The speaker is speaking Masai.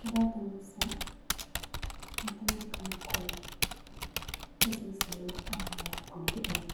Kadolta emisa natii ilorikan netii sii ilorikan loolakuaniki penyo